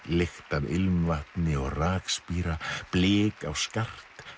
lykt af ilmvatni og rakspíra blik á skart